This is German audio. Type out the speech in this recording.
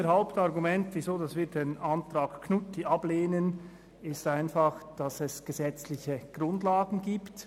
Unser Hauptargument für die Ablehnung des Antrags Knutti lautet, dass es gesetzliche Grundlagen gibt.